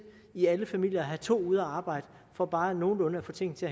i alle familier at have to ude at arbejde for bare nogenlunde at få tingene til